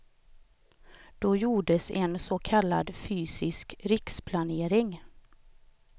Då gjordes en så kallad fysisk riksplanering.